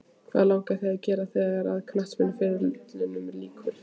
Hvað langar þig að gera þegar að knattspyrnuferlinum líkur?